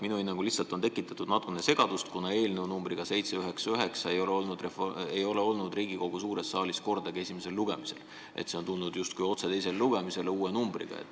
Minu hinnangul on tekitatud natukene segadust, kuna eelnõu numbriga 799 ei ole olnud Riigikogu suures saalis kordagi esimesel lugemisel, see on tulnud justkui otse teisele lugemisele.